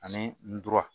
Ani ndura